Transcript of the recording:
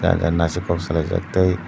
jan jani naisik kok salai jak tei.